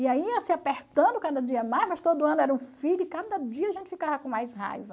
E aí ia se apertando cada dia mais, mas todo ano era um filho e cada dia a gente ficava com mais raiva.